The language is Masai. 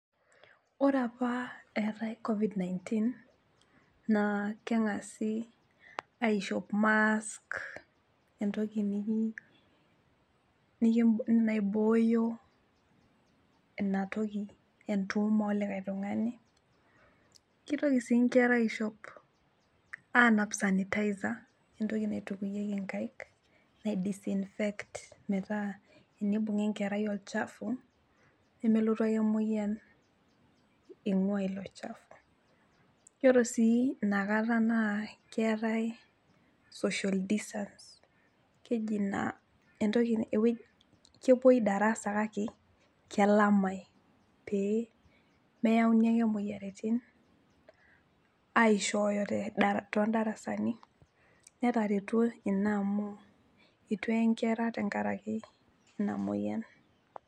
Ore apa eetae covid 19 naa keng'asi aishop mask, entoki niki, naibooyo inatoki entuum olikae tung'ani , kitoki sii nkera aishop , anap sanitizer , entoki naitukuyieki inkaik nai disinfect metaa tenibung'a enkerai olchafu nemelotu ake emoyian ingwaa ilochafu ,yiolo sii inakata naa keetae social distance, ewueji , kepuoi darasa kake kelamae pee meyauni ake imoyiaritin aishooyo tedarasa , tondarasani , netaretuo ina amu itu ee inkera tenkaraki ina moyiani.